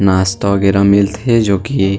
नास्ता वगेरा मिलथे जो कि--